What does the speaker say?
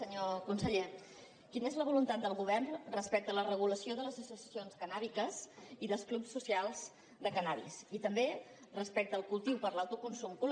senyor conseller quina és la voluntat del govern respecte a la regulació de les associacions cannàbiques i dels clubs socials de cànnabis i també respecte al cultiu per a l’autoconsum col·